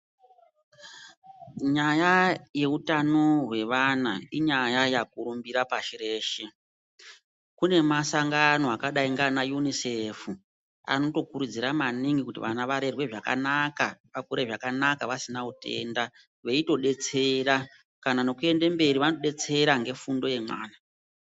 Nyaya yehutano hwevana inyaya yakurumbira pashi reshe kune masangano akadai ngaana UNICEF anondokurudzira maningi kuti vana varerwe zvakanaka vakure zvakanaka vasina utenda veitodetsera kana nekuenda mberi vanodetsera ngefundo yevana.